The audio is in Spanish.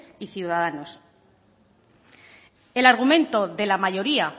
y ciudadanos el argumento de la mayoría